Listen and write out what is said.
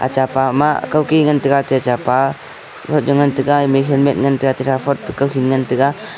acha pa ma kah key ngan taiga tai chapa cha ngan taiga ngan taiga.